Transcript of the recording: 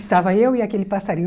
Estava eu e aquele passarinho.